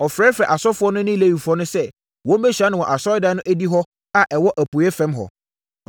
Ɔfrɛfrɛɛ asɔfoɔ no ne Lewifoɔ no sɛ, wɔmmɛhyia no wɔ Asɔredan no adihɔ a ɛwɔ apueeɛ fam hɔ.